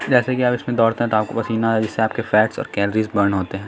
जैसे कि आप इसमें दोडते हैं तो आपको पसीना जिससे फट्स और कैलोरी बर्न होते हैं।